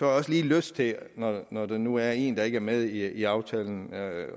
også lige lyst til når der nu er en der ikke er med i aftalen at